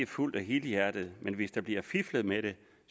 fuldt og helhjertet men hvis der bliver fiflet med det